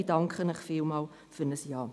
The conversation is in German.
Ich danke Ihnen vielmals für ein Ja.